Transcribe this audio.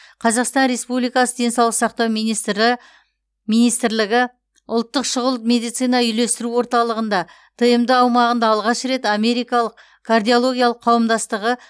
қазақстан республикасы денсаулық сақтау министрі министрлігі ұлттық шұғыл медицина үйлестіру орталығында тмд аумағында алғаш рет америкалық кардиологиялық қауымдастығы